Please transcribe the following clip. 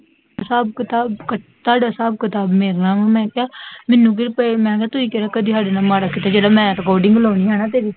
ਹਿਸਾਬ ਕਿਤਾਬ, ਤੁਹਾਡਾ ਹਿਸਾਬ ਕਿਤਾਬ ਮੇਰੇ ਨਾਲ ਵਾ, ਮੈਂ ਕਿਹਾ ਮੈਨੂੰ ਕਿ ਪਈ ਹੈ, ਮੈਂ ਕਿਹਾ ਤੁਸੀਂ ਕਿਹੜਾ ਕਦੀ ਮੇਰੇ ਨਾਲ ਮਾੜਾ ਕੀਤਾ ਜਿਹੜਾ ਮੈਂ ਰਿਕਾਰਡਿੰਗ ਲਾਉਣੀ ਹੈ ਤੇਰੀ